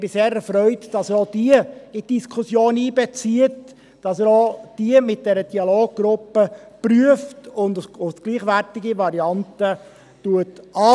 Ich bin sehr erfreut, dass er auch diese in die Diskussion einbezieht, dass er auch diese mit der Dialoggruppe prüft und als gleichwertige Variante betrachtet.